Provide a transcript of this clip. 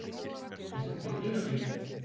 Ég hringdi dyrabjöllunni.